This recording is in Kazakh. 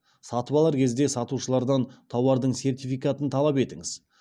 сатып алар кезде сатушылардан тауардың сертификатын талап етіңіз